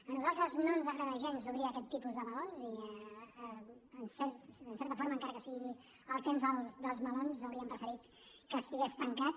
a nosaltres no ens agrada gens obrir aquest tipus de melons i en certa forma encara que sigui el temps dels melons hauríem preferit que estigués tancat